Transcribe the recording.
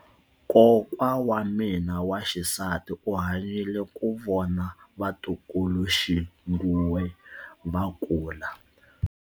Kokwa wa mina wa xisati u hanyile ku vona vatukuluxinghuwe va kula.